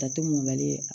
Ta to mɔlen